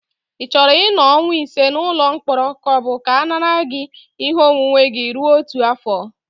Ị chọrọ ịnọ ọnwa ise n'ụlọ mkpọrọ ka ọ bụ ka a nara gị ihe onwunwe gị rue otu afọ?